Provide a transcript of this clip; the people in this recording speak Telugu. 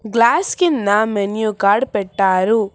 గ్లాస్ కింద మెను కార్డు పెట్టారు.